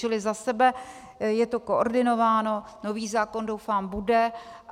Čili za sebe - je to koordinováno, nový zákon, doufám, bude.